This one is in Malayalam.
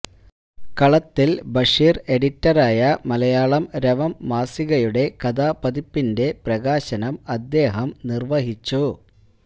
കളത്തില് ബഷീര് എഡിറ്ററായ മലയാളം രവം മാസികയുടെ കഥാപതിപ്പിന്റെ പ്രകാശനം അദ്ദേഹം നിര്വ്വഹിച്ചു